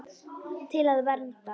Til að vernda.